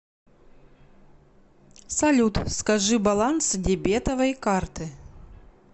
салют скажи баланс дебетовой карты